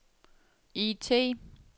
IT